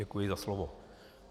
Děkuji za slovo.